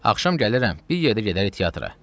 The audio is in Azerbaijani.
Axşam gəlirəm, bir yerdə gedərik teatra.